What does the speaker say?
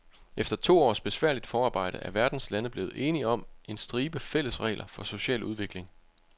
Efter to års besværligt forarbejde er verdens lande blevet enige om en stribe fælles regler for social udvikling.